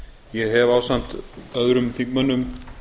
ég hef ásamt öðrum þingmönnum